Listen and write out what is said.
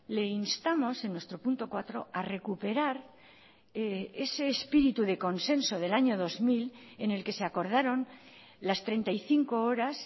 le instamos en nuestro punto cuatro a recuperar ese espíritu de consenso del año dos mil en el que se acordaron las treinta y cinco horas